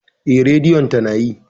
Eh, Radiyon tana yi.